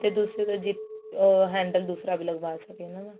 ਤੇ ਦੂਸਰਾ zip ਆ handle ਦੂਸਰਾ ਵੀ ਲਗਵਾ ਸਕੀਏ ਉਹਨਾ ਨੂੰ